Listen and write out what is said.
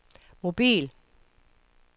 mobil